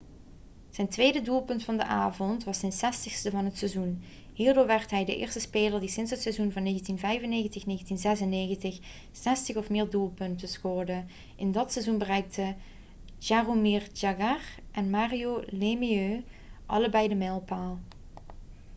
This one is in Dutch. zijn tweede doelpunt van de avond was zijn 60ste van het seizoen hierdoor werd hij de eerste speler die sinds het seizoen van 1995-1996 zestig of meer doelpunten scoorde in dat seizoen bereikten jaromir jagr en mario lemieux allebei die mijlpaal